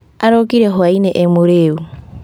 Arokire hwa-inĩ emũrĩu